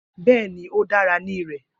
Bẹẹni, o dara ni rẹ.